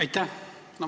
Aitäh!